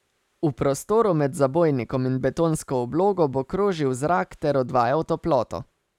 V prostoru med zabojnikom in betonsko oblogo bo krožil zrak ter odvajal toploto.